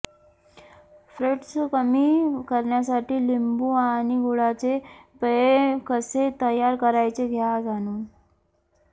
fats कमी करण्यासाठी लिंबू आणि गुळाचे पेय कसे तयार करायचे घ्या जाणून